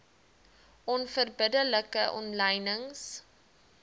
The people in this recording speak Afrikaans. onverbidde like omlynings